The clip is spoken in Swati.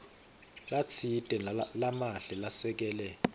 latsite lamahle lasekele